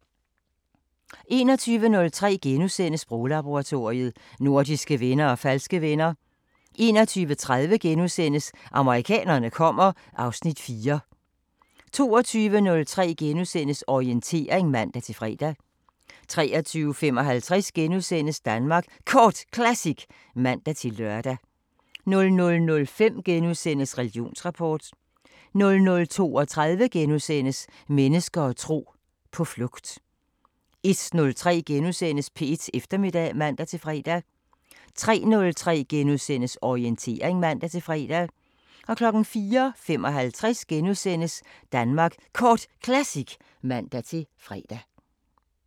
21:03: Sproglaboratoriet: Nordiske venner og falske venner * 21:30: Amerikanerne kommer (Afs. 4)* 22:03: Orientering *(man-fre) 23:55: Danmark Kort Classic *(man-lør) 00:05: Religionsrapport * 00:32: Mennesker og tro: På flugt * 01:03: P1 Eftermiddag *(man-fre) 03:03: Orientering *(man-fre) 04:55: Danmark Kort Classic *(man-fre)